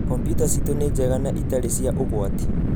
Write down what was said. Kompyuta ciitũ nĩ njega na itarĩ cia ũgwati.